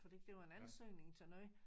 Fordi det var en ansøgning til noget